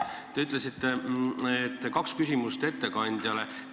Te ütlesite, et kaks küsimust ettekandjale.